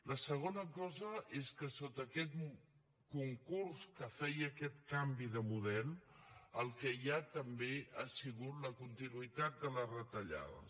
la segona cosa és que sota aquest concurs que feia aquest canvi de model el que hi ha també ha sigut la continuïtat de les retallades